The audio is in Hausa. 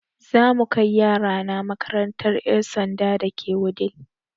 Za mu kai yaya na makarantar ƴan sandan da ke Wudil